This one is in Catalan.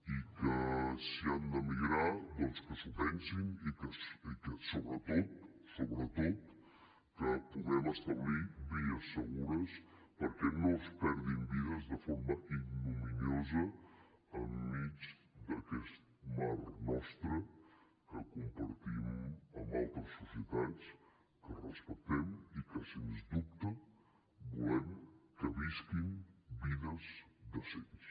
i que si han d’emigrar que s’ho pensin i que sobretot sobretot que puguem establir vies segures perquè no es perdin vides de forma ignominiosa enmig d’aquest mar nostre que compartim amb altres societats que respectem i que sens dubte volem que visquin vides decents